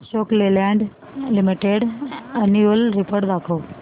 Ashok Leyland limited annual report दाखव